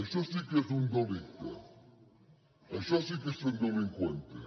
això sí que és un delicte això sí que és ser un delincuente